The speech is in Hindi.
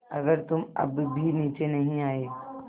अगर तुम अब भी नीचे नहीं आये